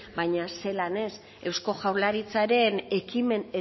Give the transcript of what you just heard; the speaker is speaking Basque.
baina zelan ez eusko jaurlaritzaren ekimen